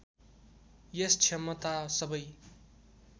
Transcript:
यस क्षमता सबै